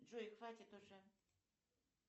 джой хватит уже